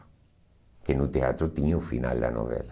Porque no teatro tinha o final da novela.